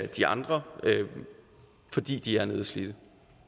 de andre fordi de er nedslidte